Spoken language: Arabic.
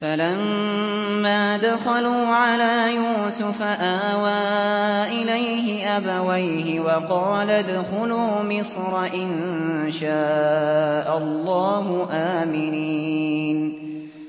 فَلَمَّا دَخَلُوا عَلَىٰ يُوسُفَ آوَىٰ إِلَيْهِ أَبَوَيْهِ وَقَالَ ادْخُلُوا مِصْرَ إِن شَاءَ اللَّهُ آمِنِينَ